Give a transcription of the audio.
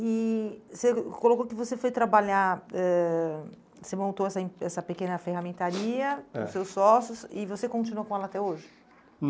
E você colocou que você foi trabalhar, ãh você montou essa em essa pequena ferramentaria, é, com os seus sócios e você continua com ela até hoje?